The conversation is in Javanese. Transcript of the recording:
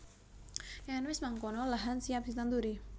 Yen wis mangkono lahan siap ditanduri